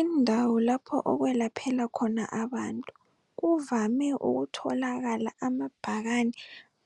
Indawo lapho okwelaphela khona abantu kuvame ukutholakala amabhakane